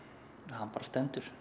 hann bara stendur